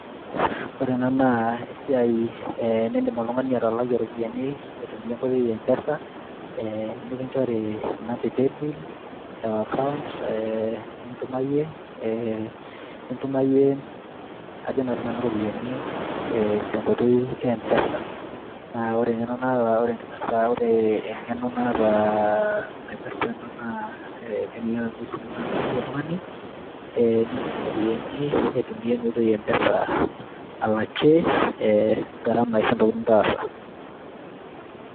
ore ena naa esiai eh nindim oltung'ani atalakie iropiyiani aitumia enkoitoi e mpesa eh, nikinchori inamba e paybill o account eh, nintumayie eh, nintumayie ajo naa sinanu iropiyiani eh, tenkoitoi e mpesa naa ore eng'eno naata, ore enkipirrta ore eng'eno naata uh, naipirrta ena naa ekelelek amu esimu ino ake intumia oltung'ani eh, nintuma iropiyiani aitumia ena oitoi e mpesa alakie gharama ashu intokitin nitaasa.